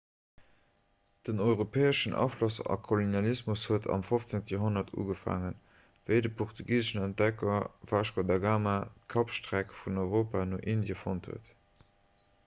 den europäeschen afloss a kolonialismus huet am 15 joerhonnert ugefaangen wéi de portugiseschen entdecker vasco da gama d'kapstreck vun europa no indie fonnt huet